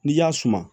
N'i y'a suma